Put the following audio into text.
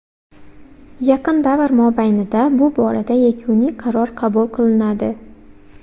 Yaqin davr mobaynida bu borada yakuniy qaror qabul qilinadi.